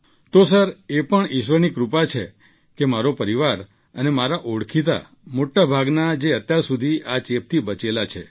તો સર એ પણ ઈશ્વરની કૃપા છે કે મારો પરિવાર અને મારા ઓળખીતા મોટા ભાગના જે અત્યારે સુધી આ ચેપથી બચેલા છે